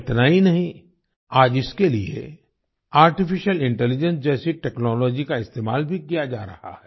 इतना ही नहीं आज इसके लिए आर्टिफिशियल इंटेलिजेंस जैसी टेक्नोलॉजी का इस्तेमाल भी किया जा रहा है